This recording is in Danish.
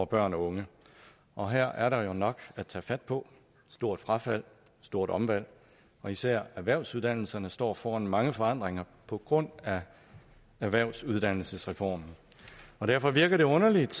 børn og unge og her er der jo nok at tage fat på stort frafald stort omvalg og især erhvervsuddannelserne står foran mange forandringer på grund af erhvervsuddannelsesreformen derfor virker det underligt